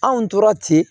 Anw tora ten